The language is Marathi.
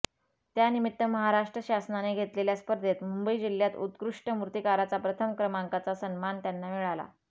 त्यानिमित्त महाराष्ट्र शासनाने घेतलेल्या स्पर्धेत मुंबई जिल्ह्यात उत्कृष्ट मूर्तिकाराचा प्रथम क्रमांकाचा सन्मान त्यांना मिळाला